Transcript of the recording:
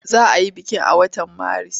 Za a yi bikin a watan Maris?